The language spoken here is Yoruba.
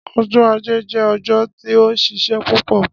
Ọjọ aje jẹ ọjọ ti o nšišẹ pupọ.